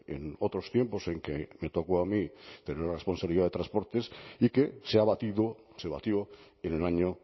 en otros tiempos en que me tocó a mí tener la responsabilidad de transportes y que se ha batido se batió en el año